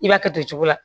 I b'a kɛ nin cogo la